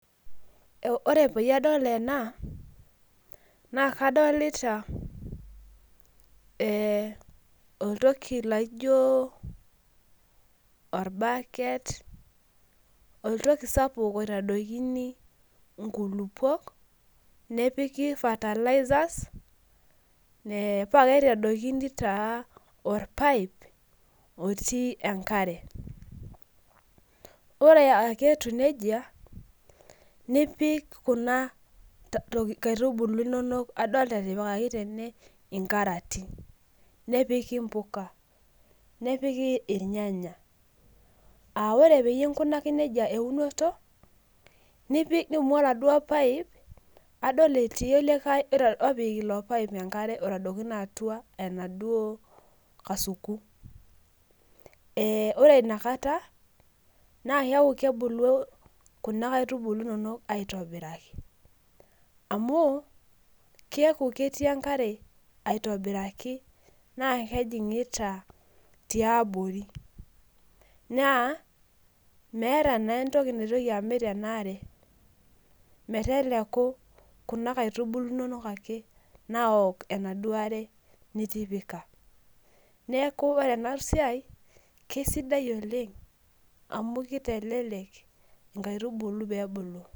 Ore peyie adol ena, na kadolita oltoki laijo orbaket, oltoki sapuk oitadokini inkulupuok, nepiki fertilisers, pakitadokini taa orpaip otii enkare. Ore ake etiu nejia, nipik kuna kaitubulu inonok adol etipikaki tene inkaratin. Nepiki impuka. Nepiki irnyanya. Ah ore peyie inkunaki nejia eunoto, nipik nidumu aladuo paip, adol etii likae opik ilo paip enkare oitadokino atua enaduo kasuku. Ore inakata, na keeku kebulu kuna kaitubulu inonok aitobiraki. Amu, keeku ketii enkare aitobiraki naa kejing'ita tiabori. Naa, meeta naa entoki naitoki amit enaare, meteleku kuna kaitubulu inonok ake naok enaduo are nitipika. Neeku ore enasiai, kesidai oleng amu kitelelek inkaitubulu pebulu.